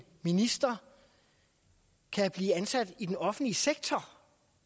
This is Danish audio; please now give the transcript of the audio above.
minister kan blive ansat i den offentlige sektor